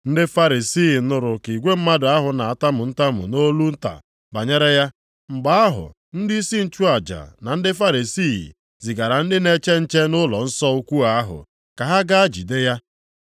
Ndị Farisii nụrụ ka igwe mmadụ ahụ na-atamu ntamu nʼolu nta banyere ya. Mgbe ahụ ndịisi nchụaja na ndị Farisii zigara ndị na-eche nche nʼụlọnsọ ukwuu ahụ ka ha gaa jide ya.